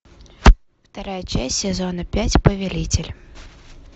вторая часть сезона пять повелитель